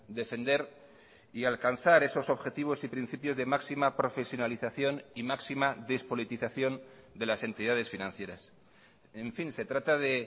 defender y alcanzar esos objetivos y principios de máxima profesionalización y máxima despolitización de las entidades financieras en fin se trata de